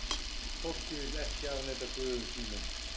Fólkið vill ekki afneita guðum sínum.